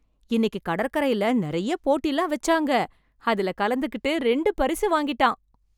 இன்னைக்கு கடற்கரைல நெறைய போட்டிலம் வச்சாங்க. அதுல கலந்துகிட்டு ரெண்டு பரிசு வாங்கிட்டான்.